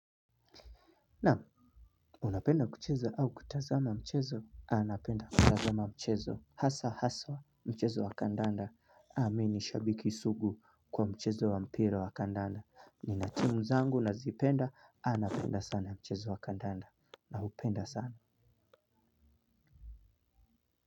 Naam. Unapenda kucheza au kutazama mchezo? Napenda kutazama mchezo hasa haswa mchezo wa kandanda mi ni shabiki sugu kwa mchezo wa mpira wa kandanda nina timu zangu nazipenda napenda sana mchezo wa kandanda. Na upenda sana.